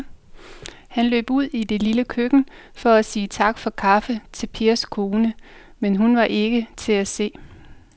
Han løb ud i det lille køkken for at sige tak for kaffe til Pers kone, men hun var ikke til at se.